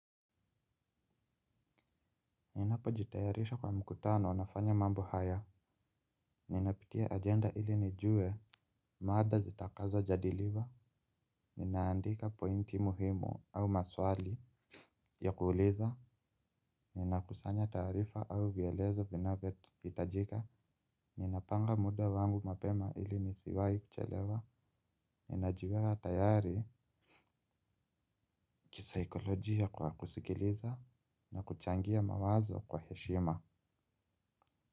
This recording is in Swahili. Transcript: Ninapo jitayarisha kwa mkutano nafanya mambo haya. Ninapitia agenda ili nijue maada zitakazo jadiliwa. Ninaandika pointi muhimu au maswali ya kuuliza. Ninakusanya taarifa au vielezo vinavyo itajika. Ninapanga muda wangu mapema ili nisiwai kuchelewa. Ninajiweka tayari kisaikolojia kwa kusikiliza na kuchangia mawazo kwa heshima.